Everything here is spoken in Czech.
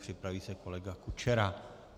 Připraví se kolega Kučera.